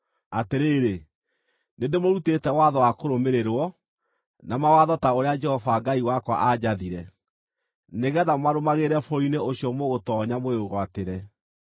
Atĩrĩrĩ, nĩndĩmũrutĩte watho wa kũrũmĩrĩrwo, na mawatho ta ũrĩa Jehova Ngai wakwa aanjathire, nĩgeetha mũmarũmagĩrĩre bũrũri-inĩ ũcio mũgũtoonya mũwĩgwatĩre.